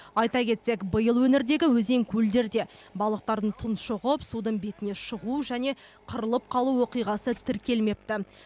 айта кетсек биыл өңірдегі өзен көлдерде балықтардың тұңшығып судың бетіне шығу және қырылып қалу оқиғасы тіркелмепті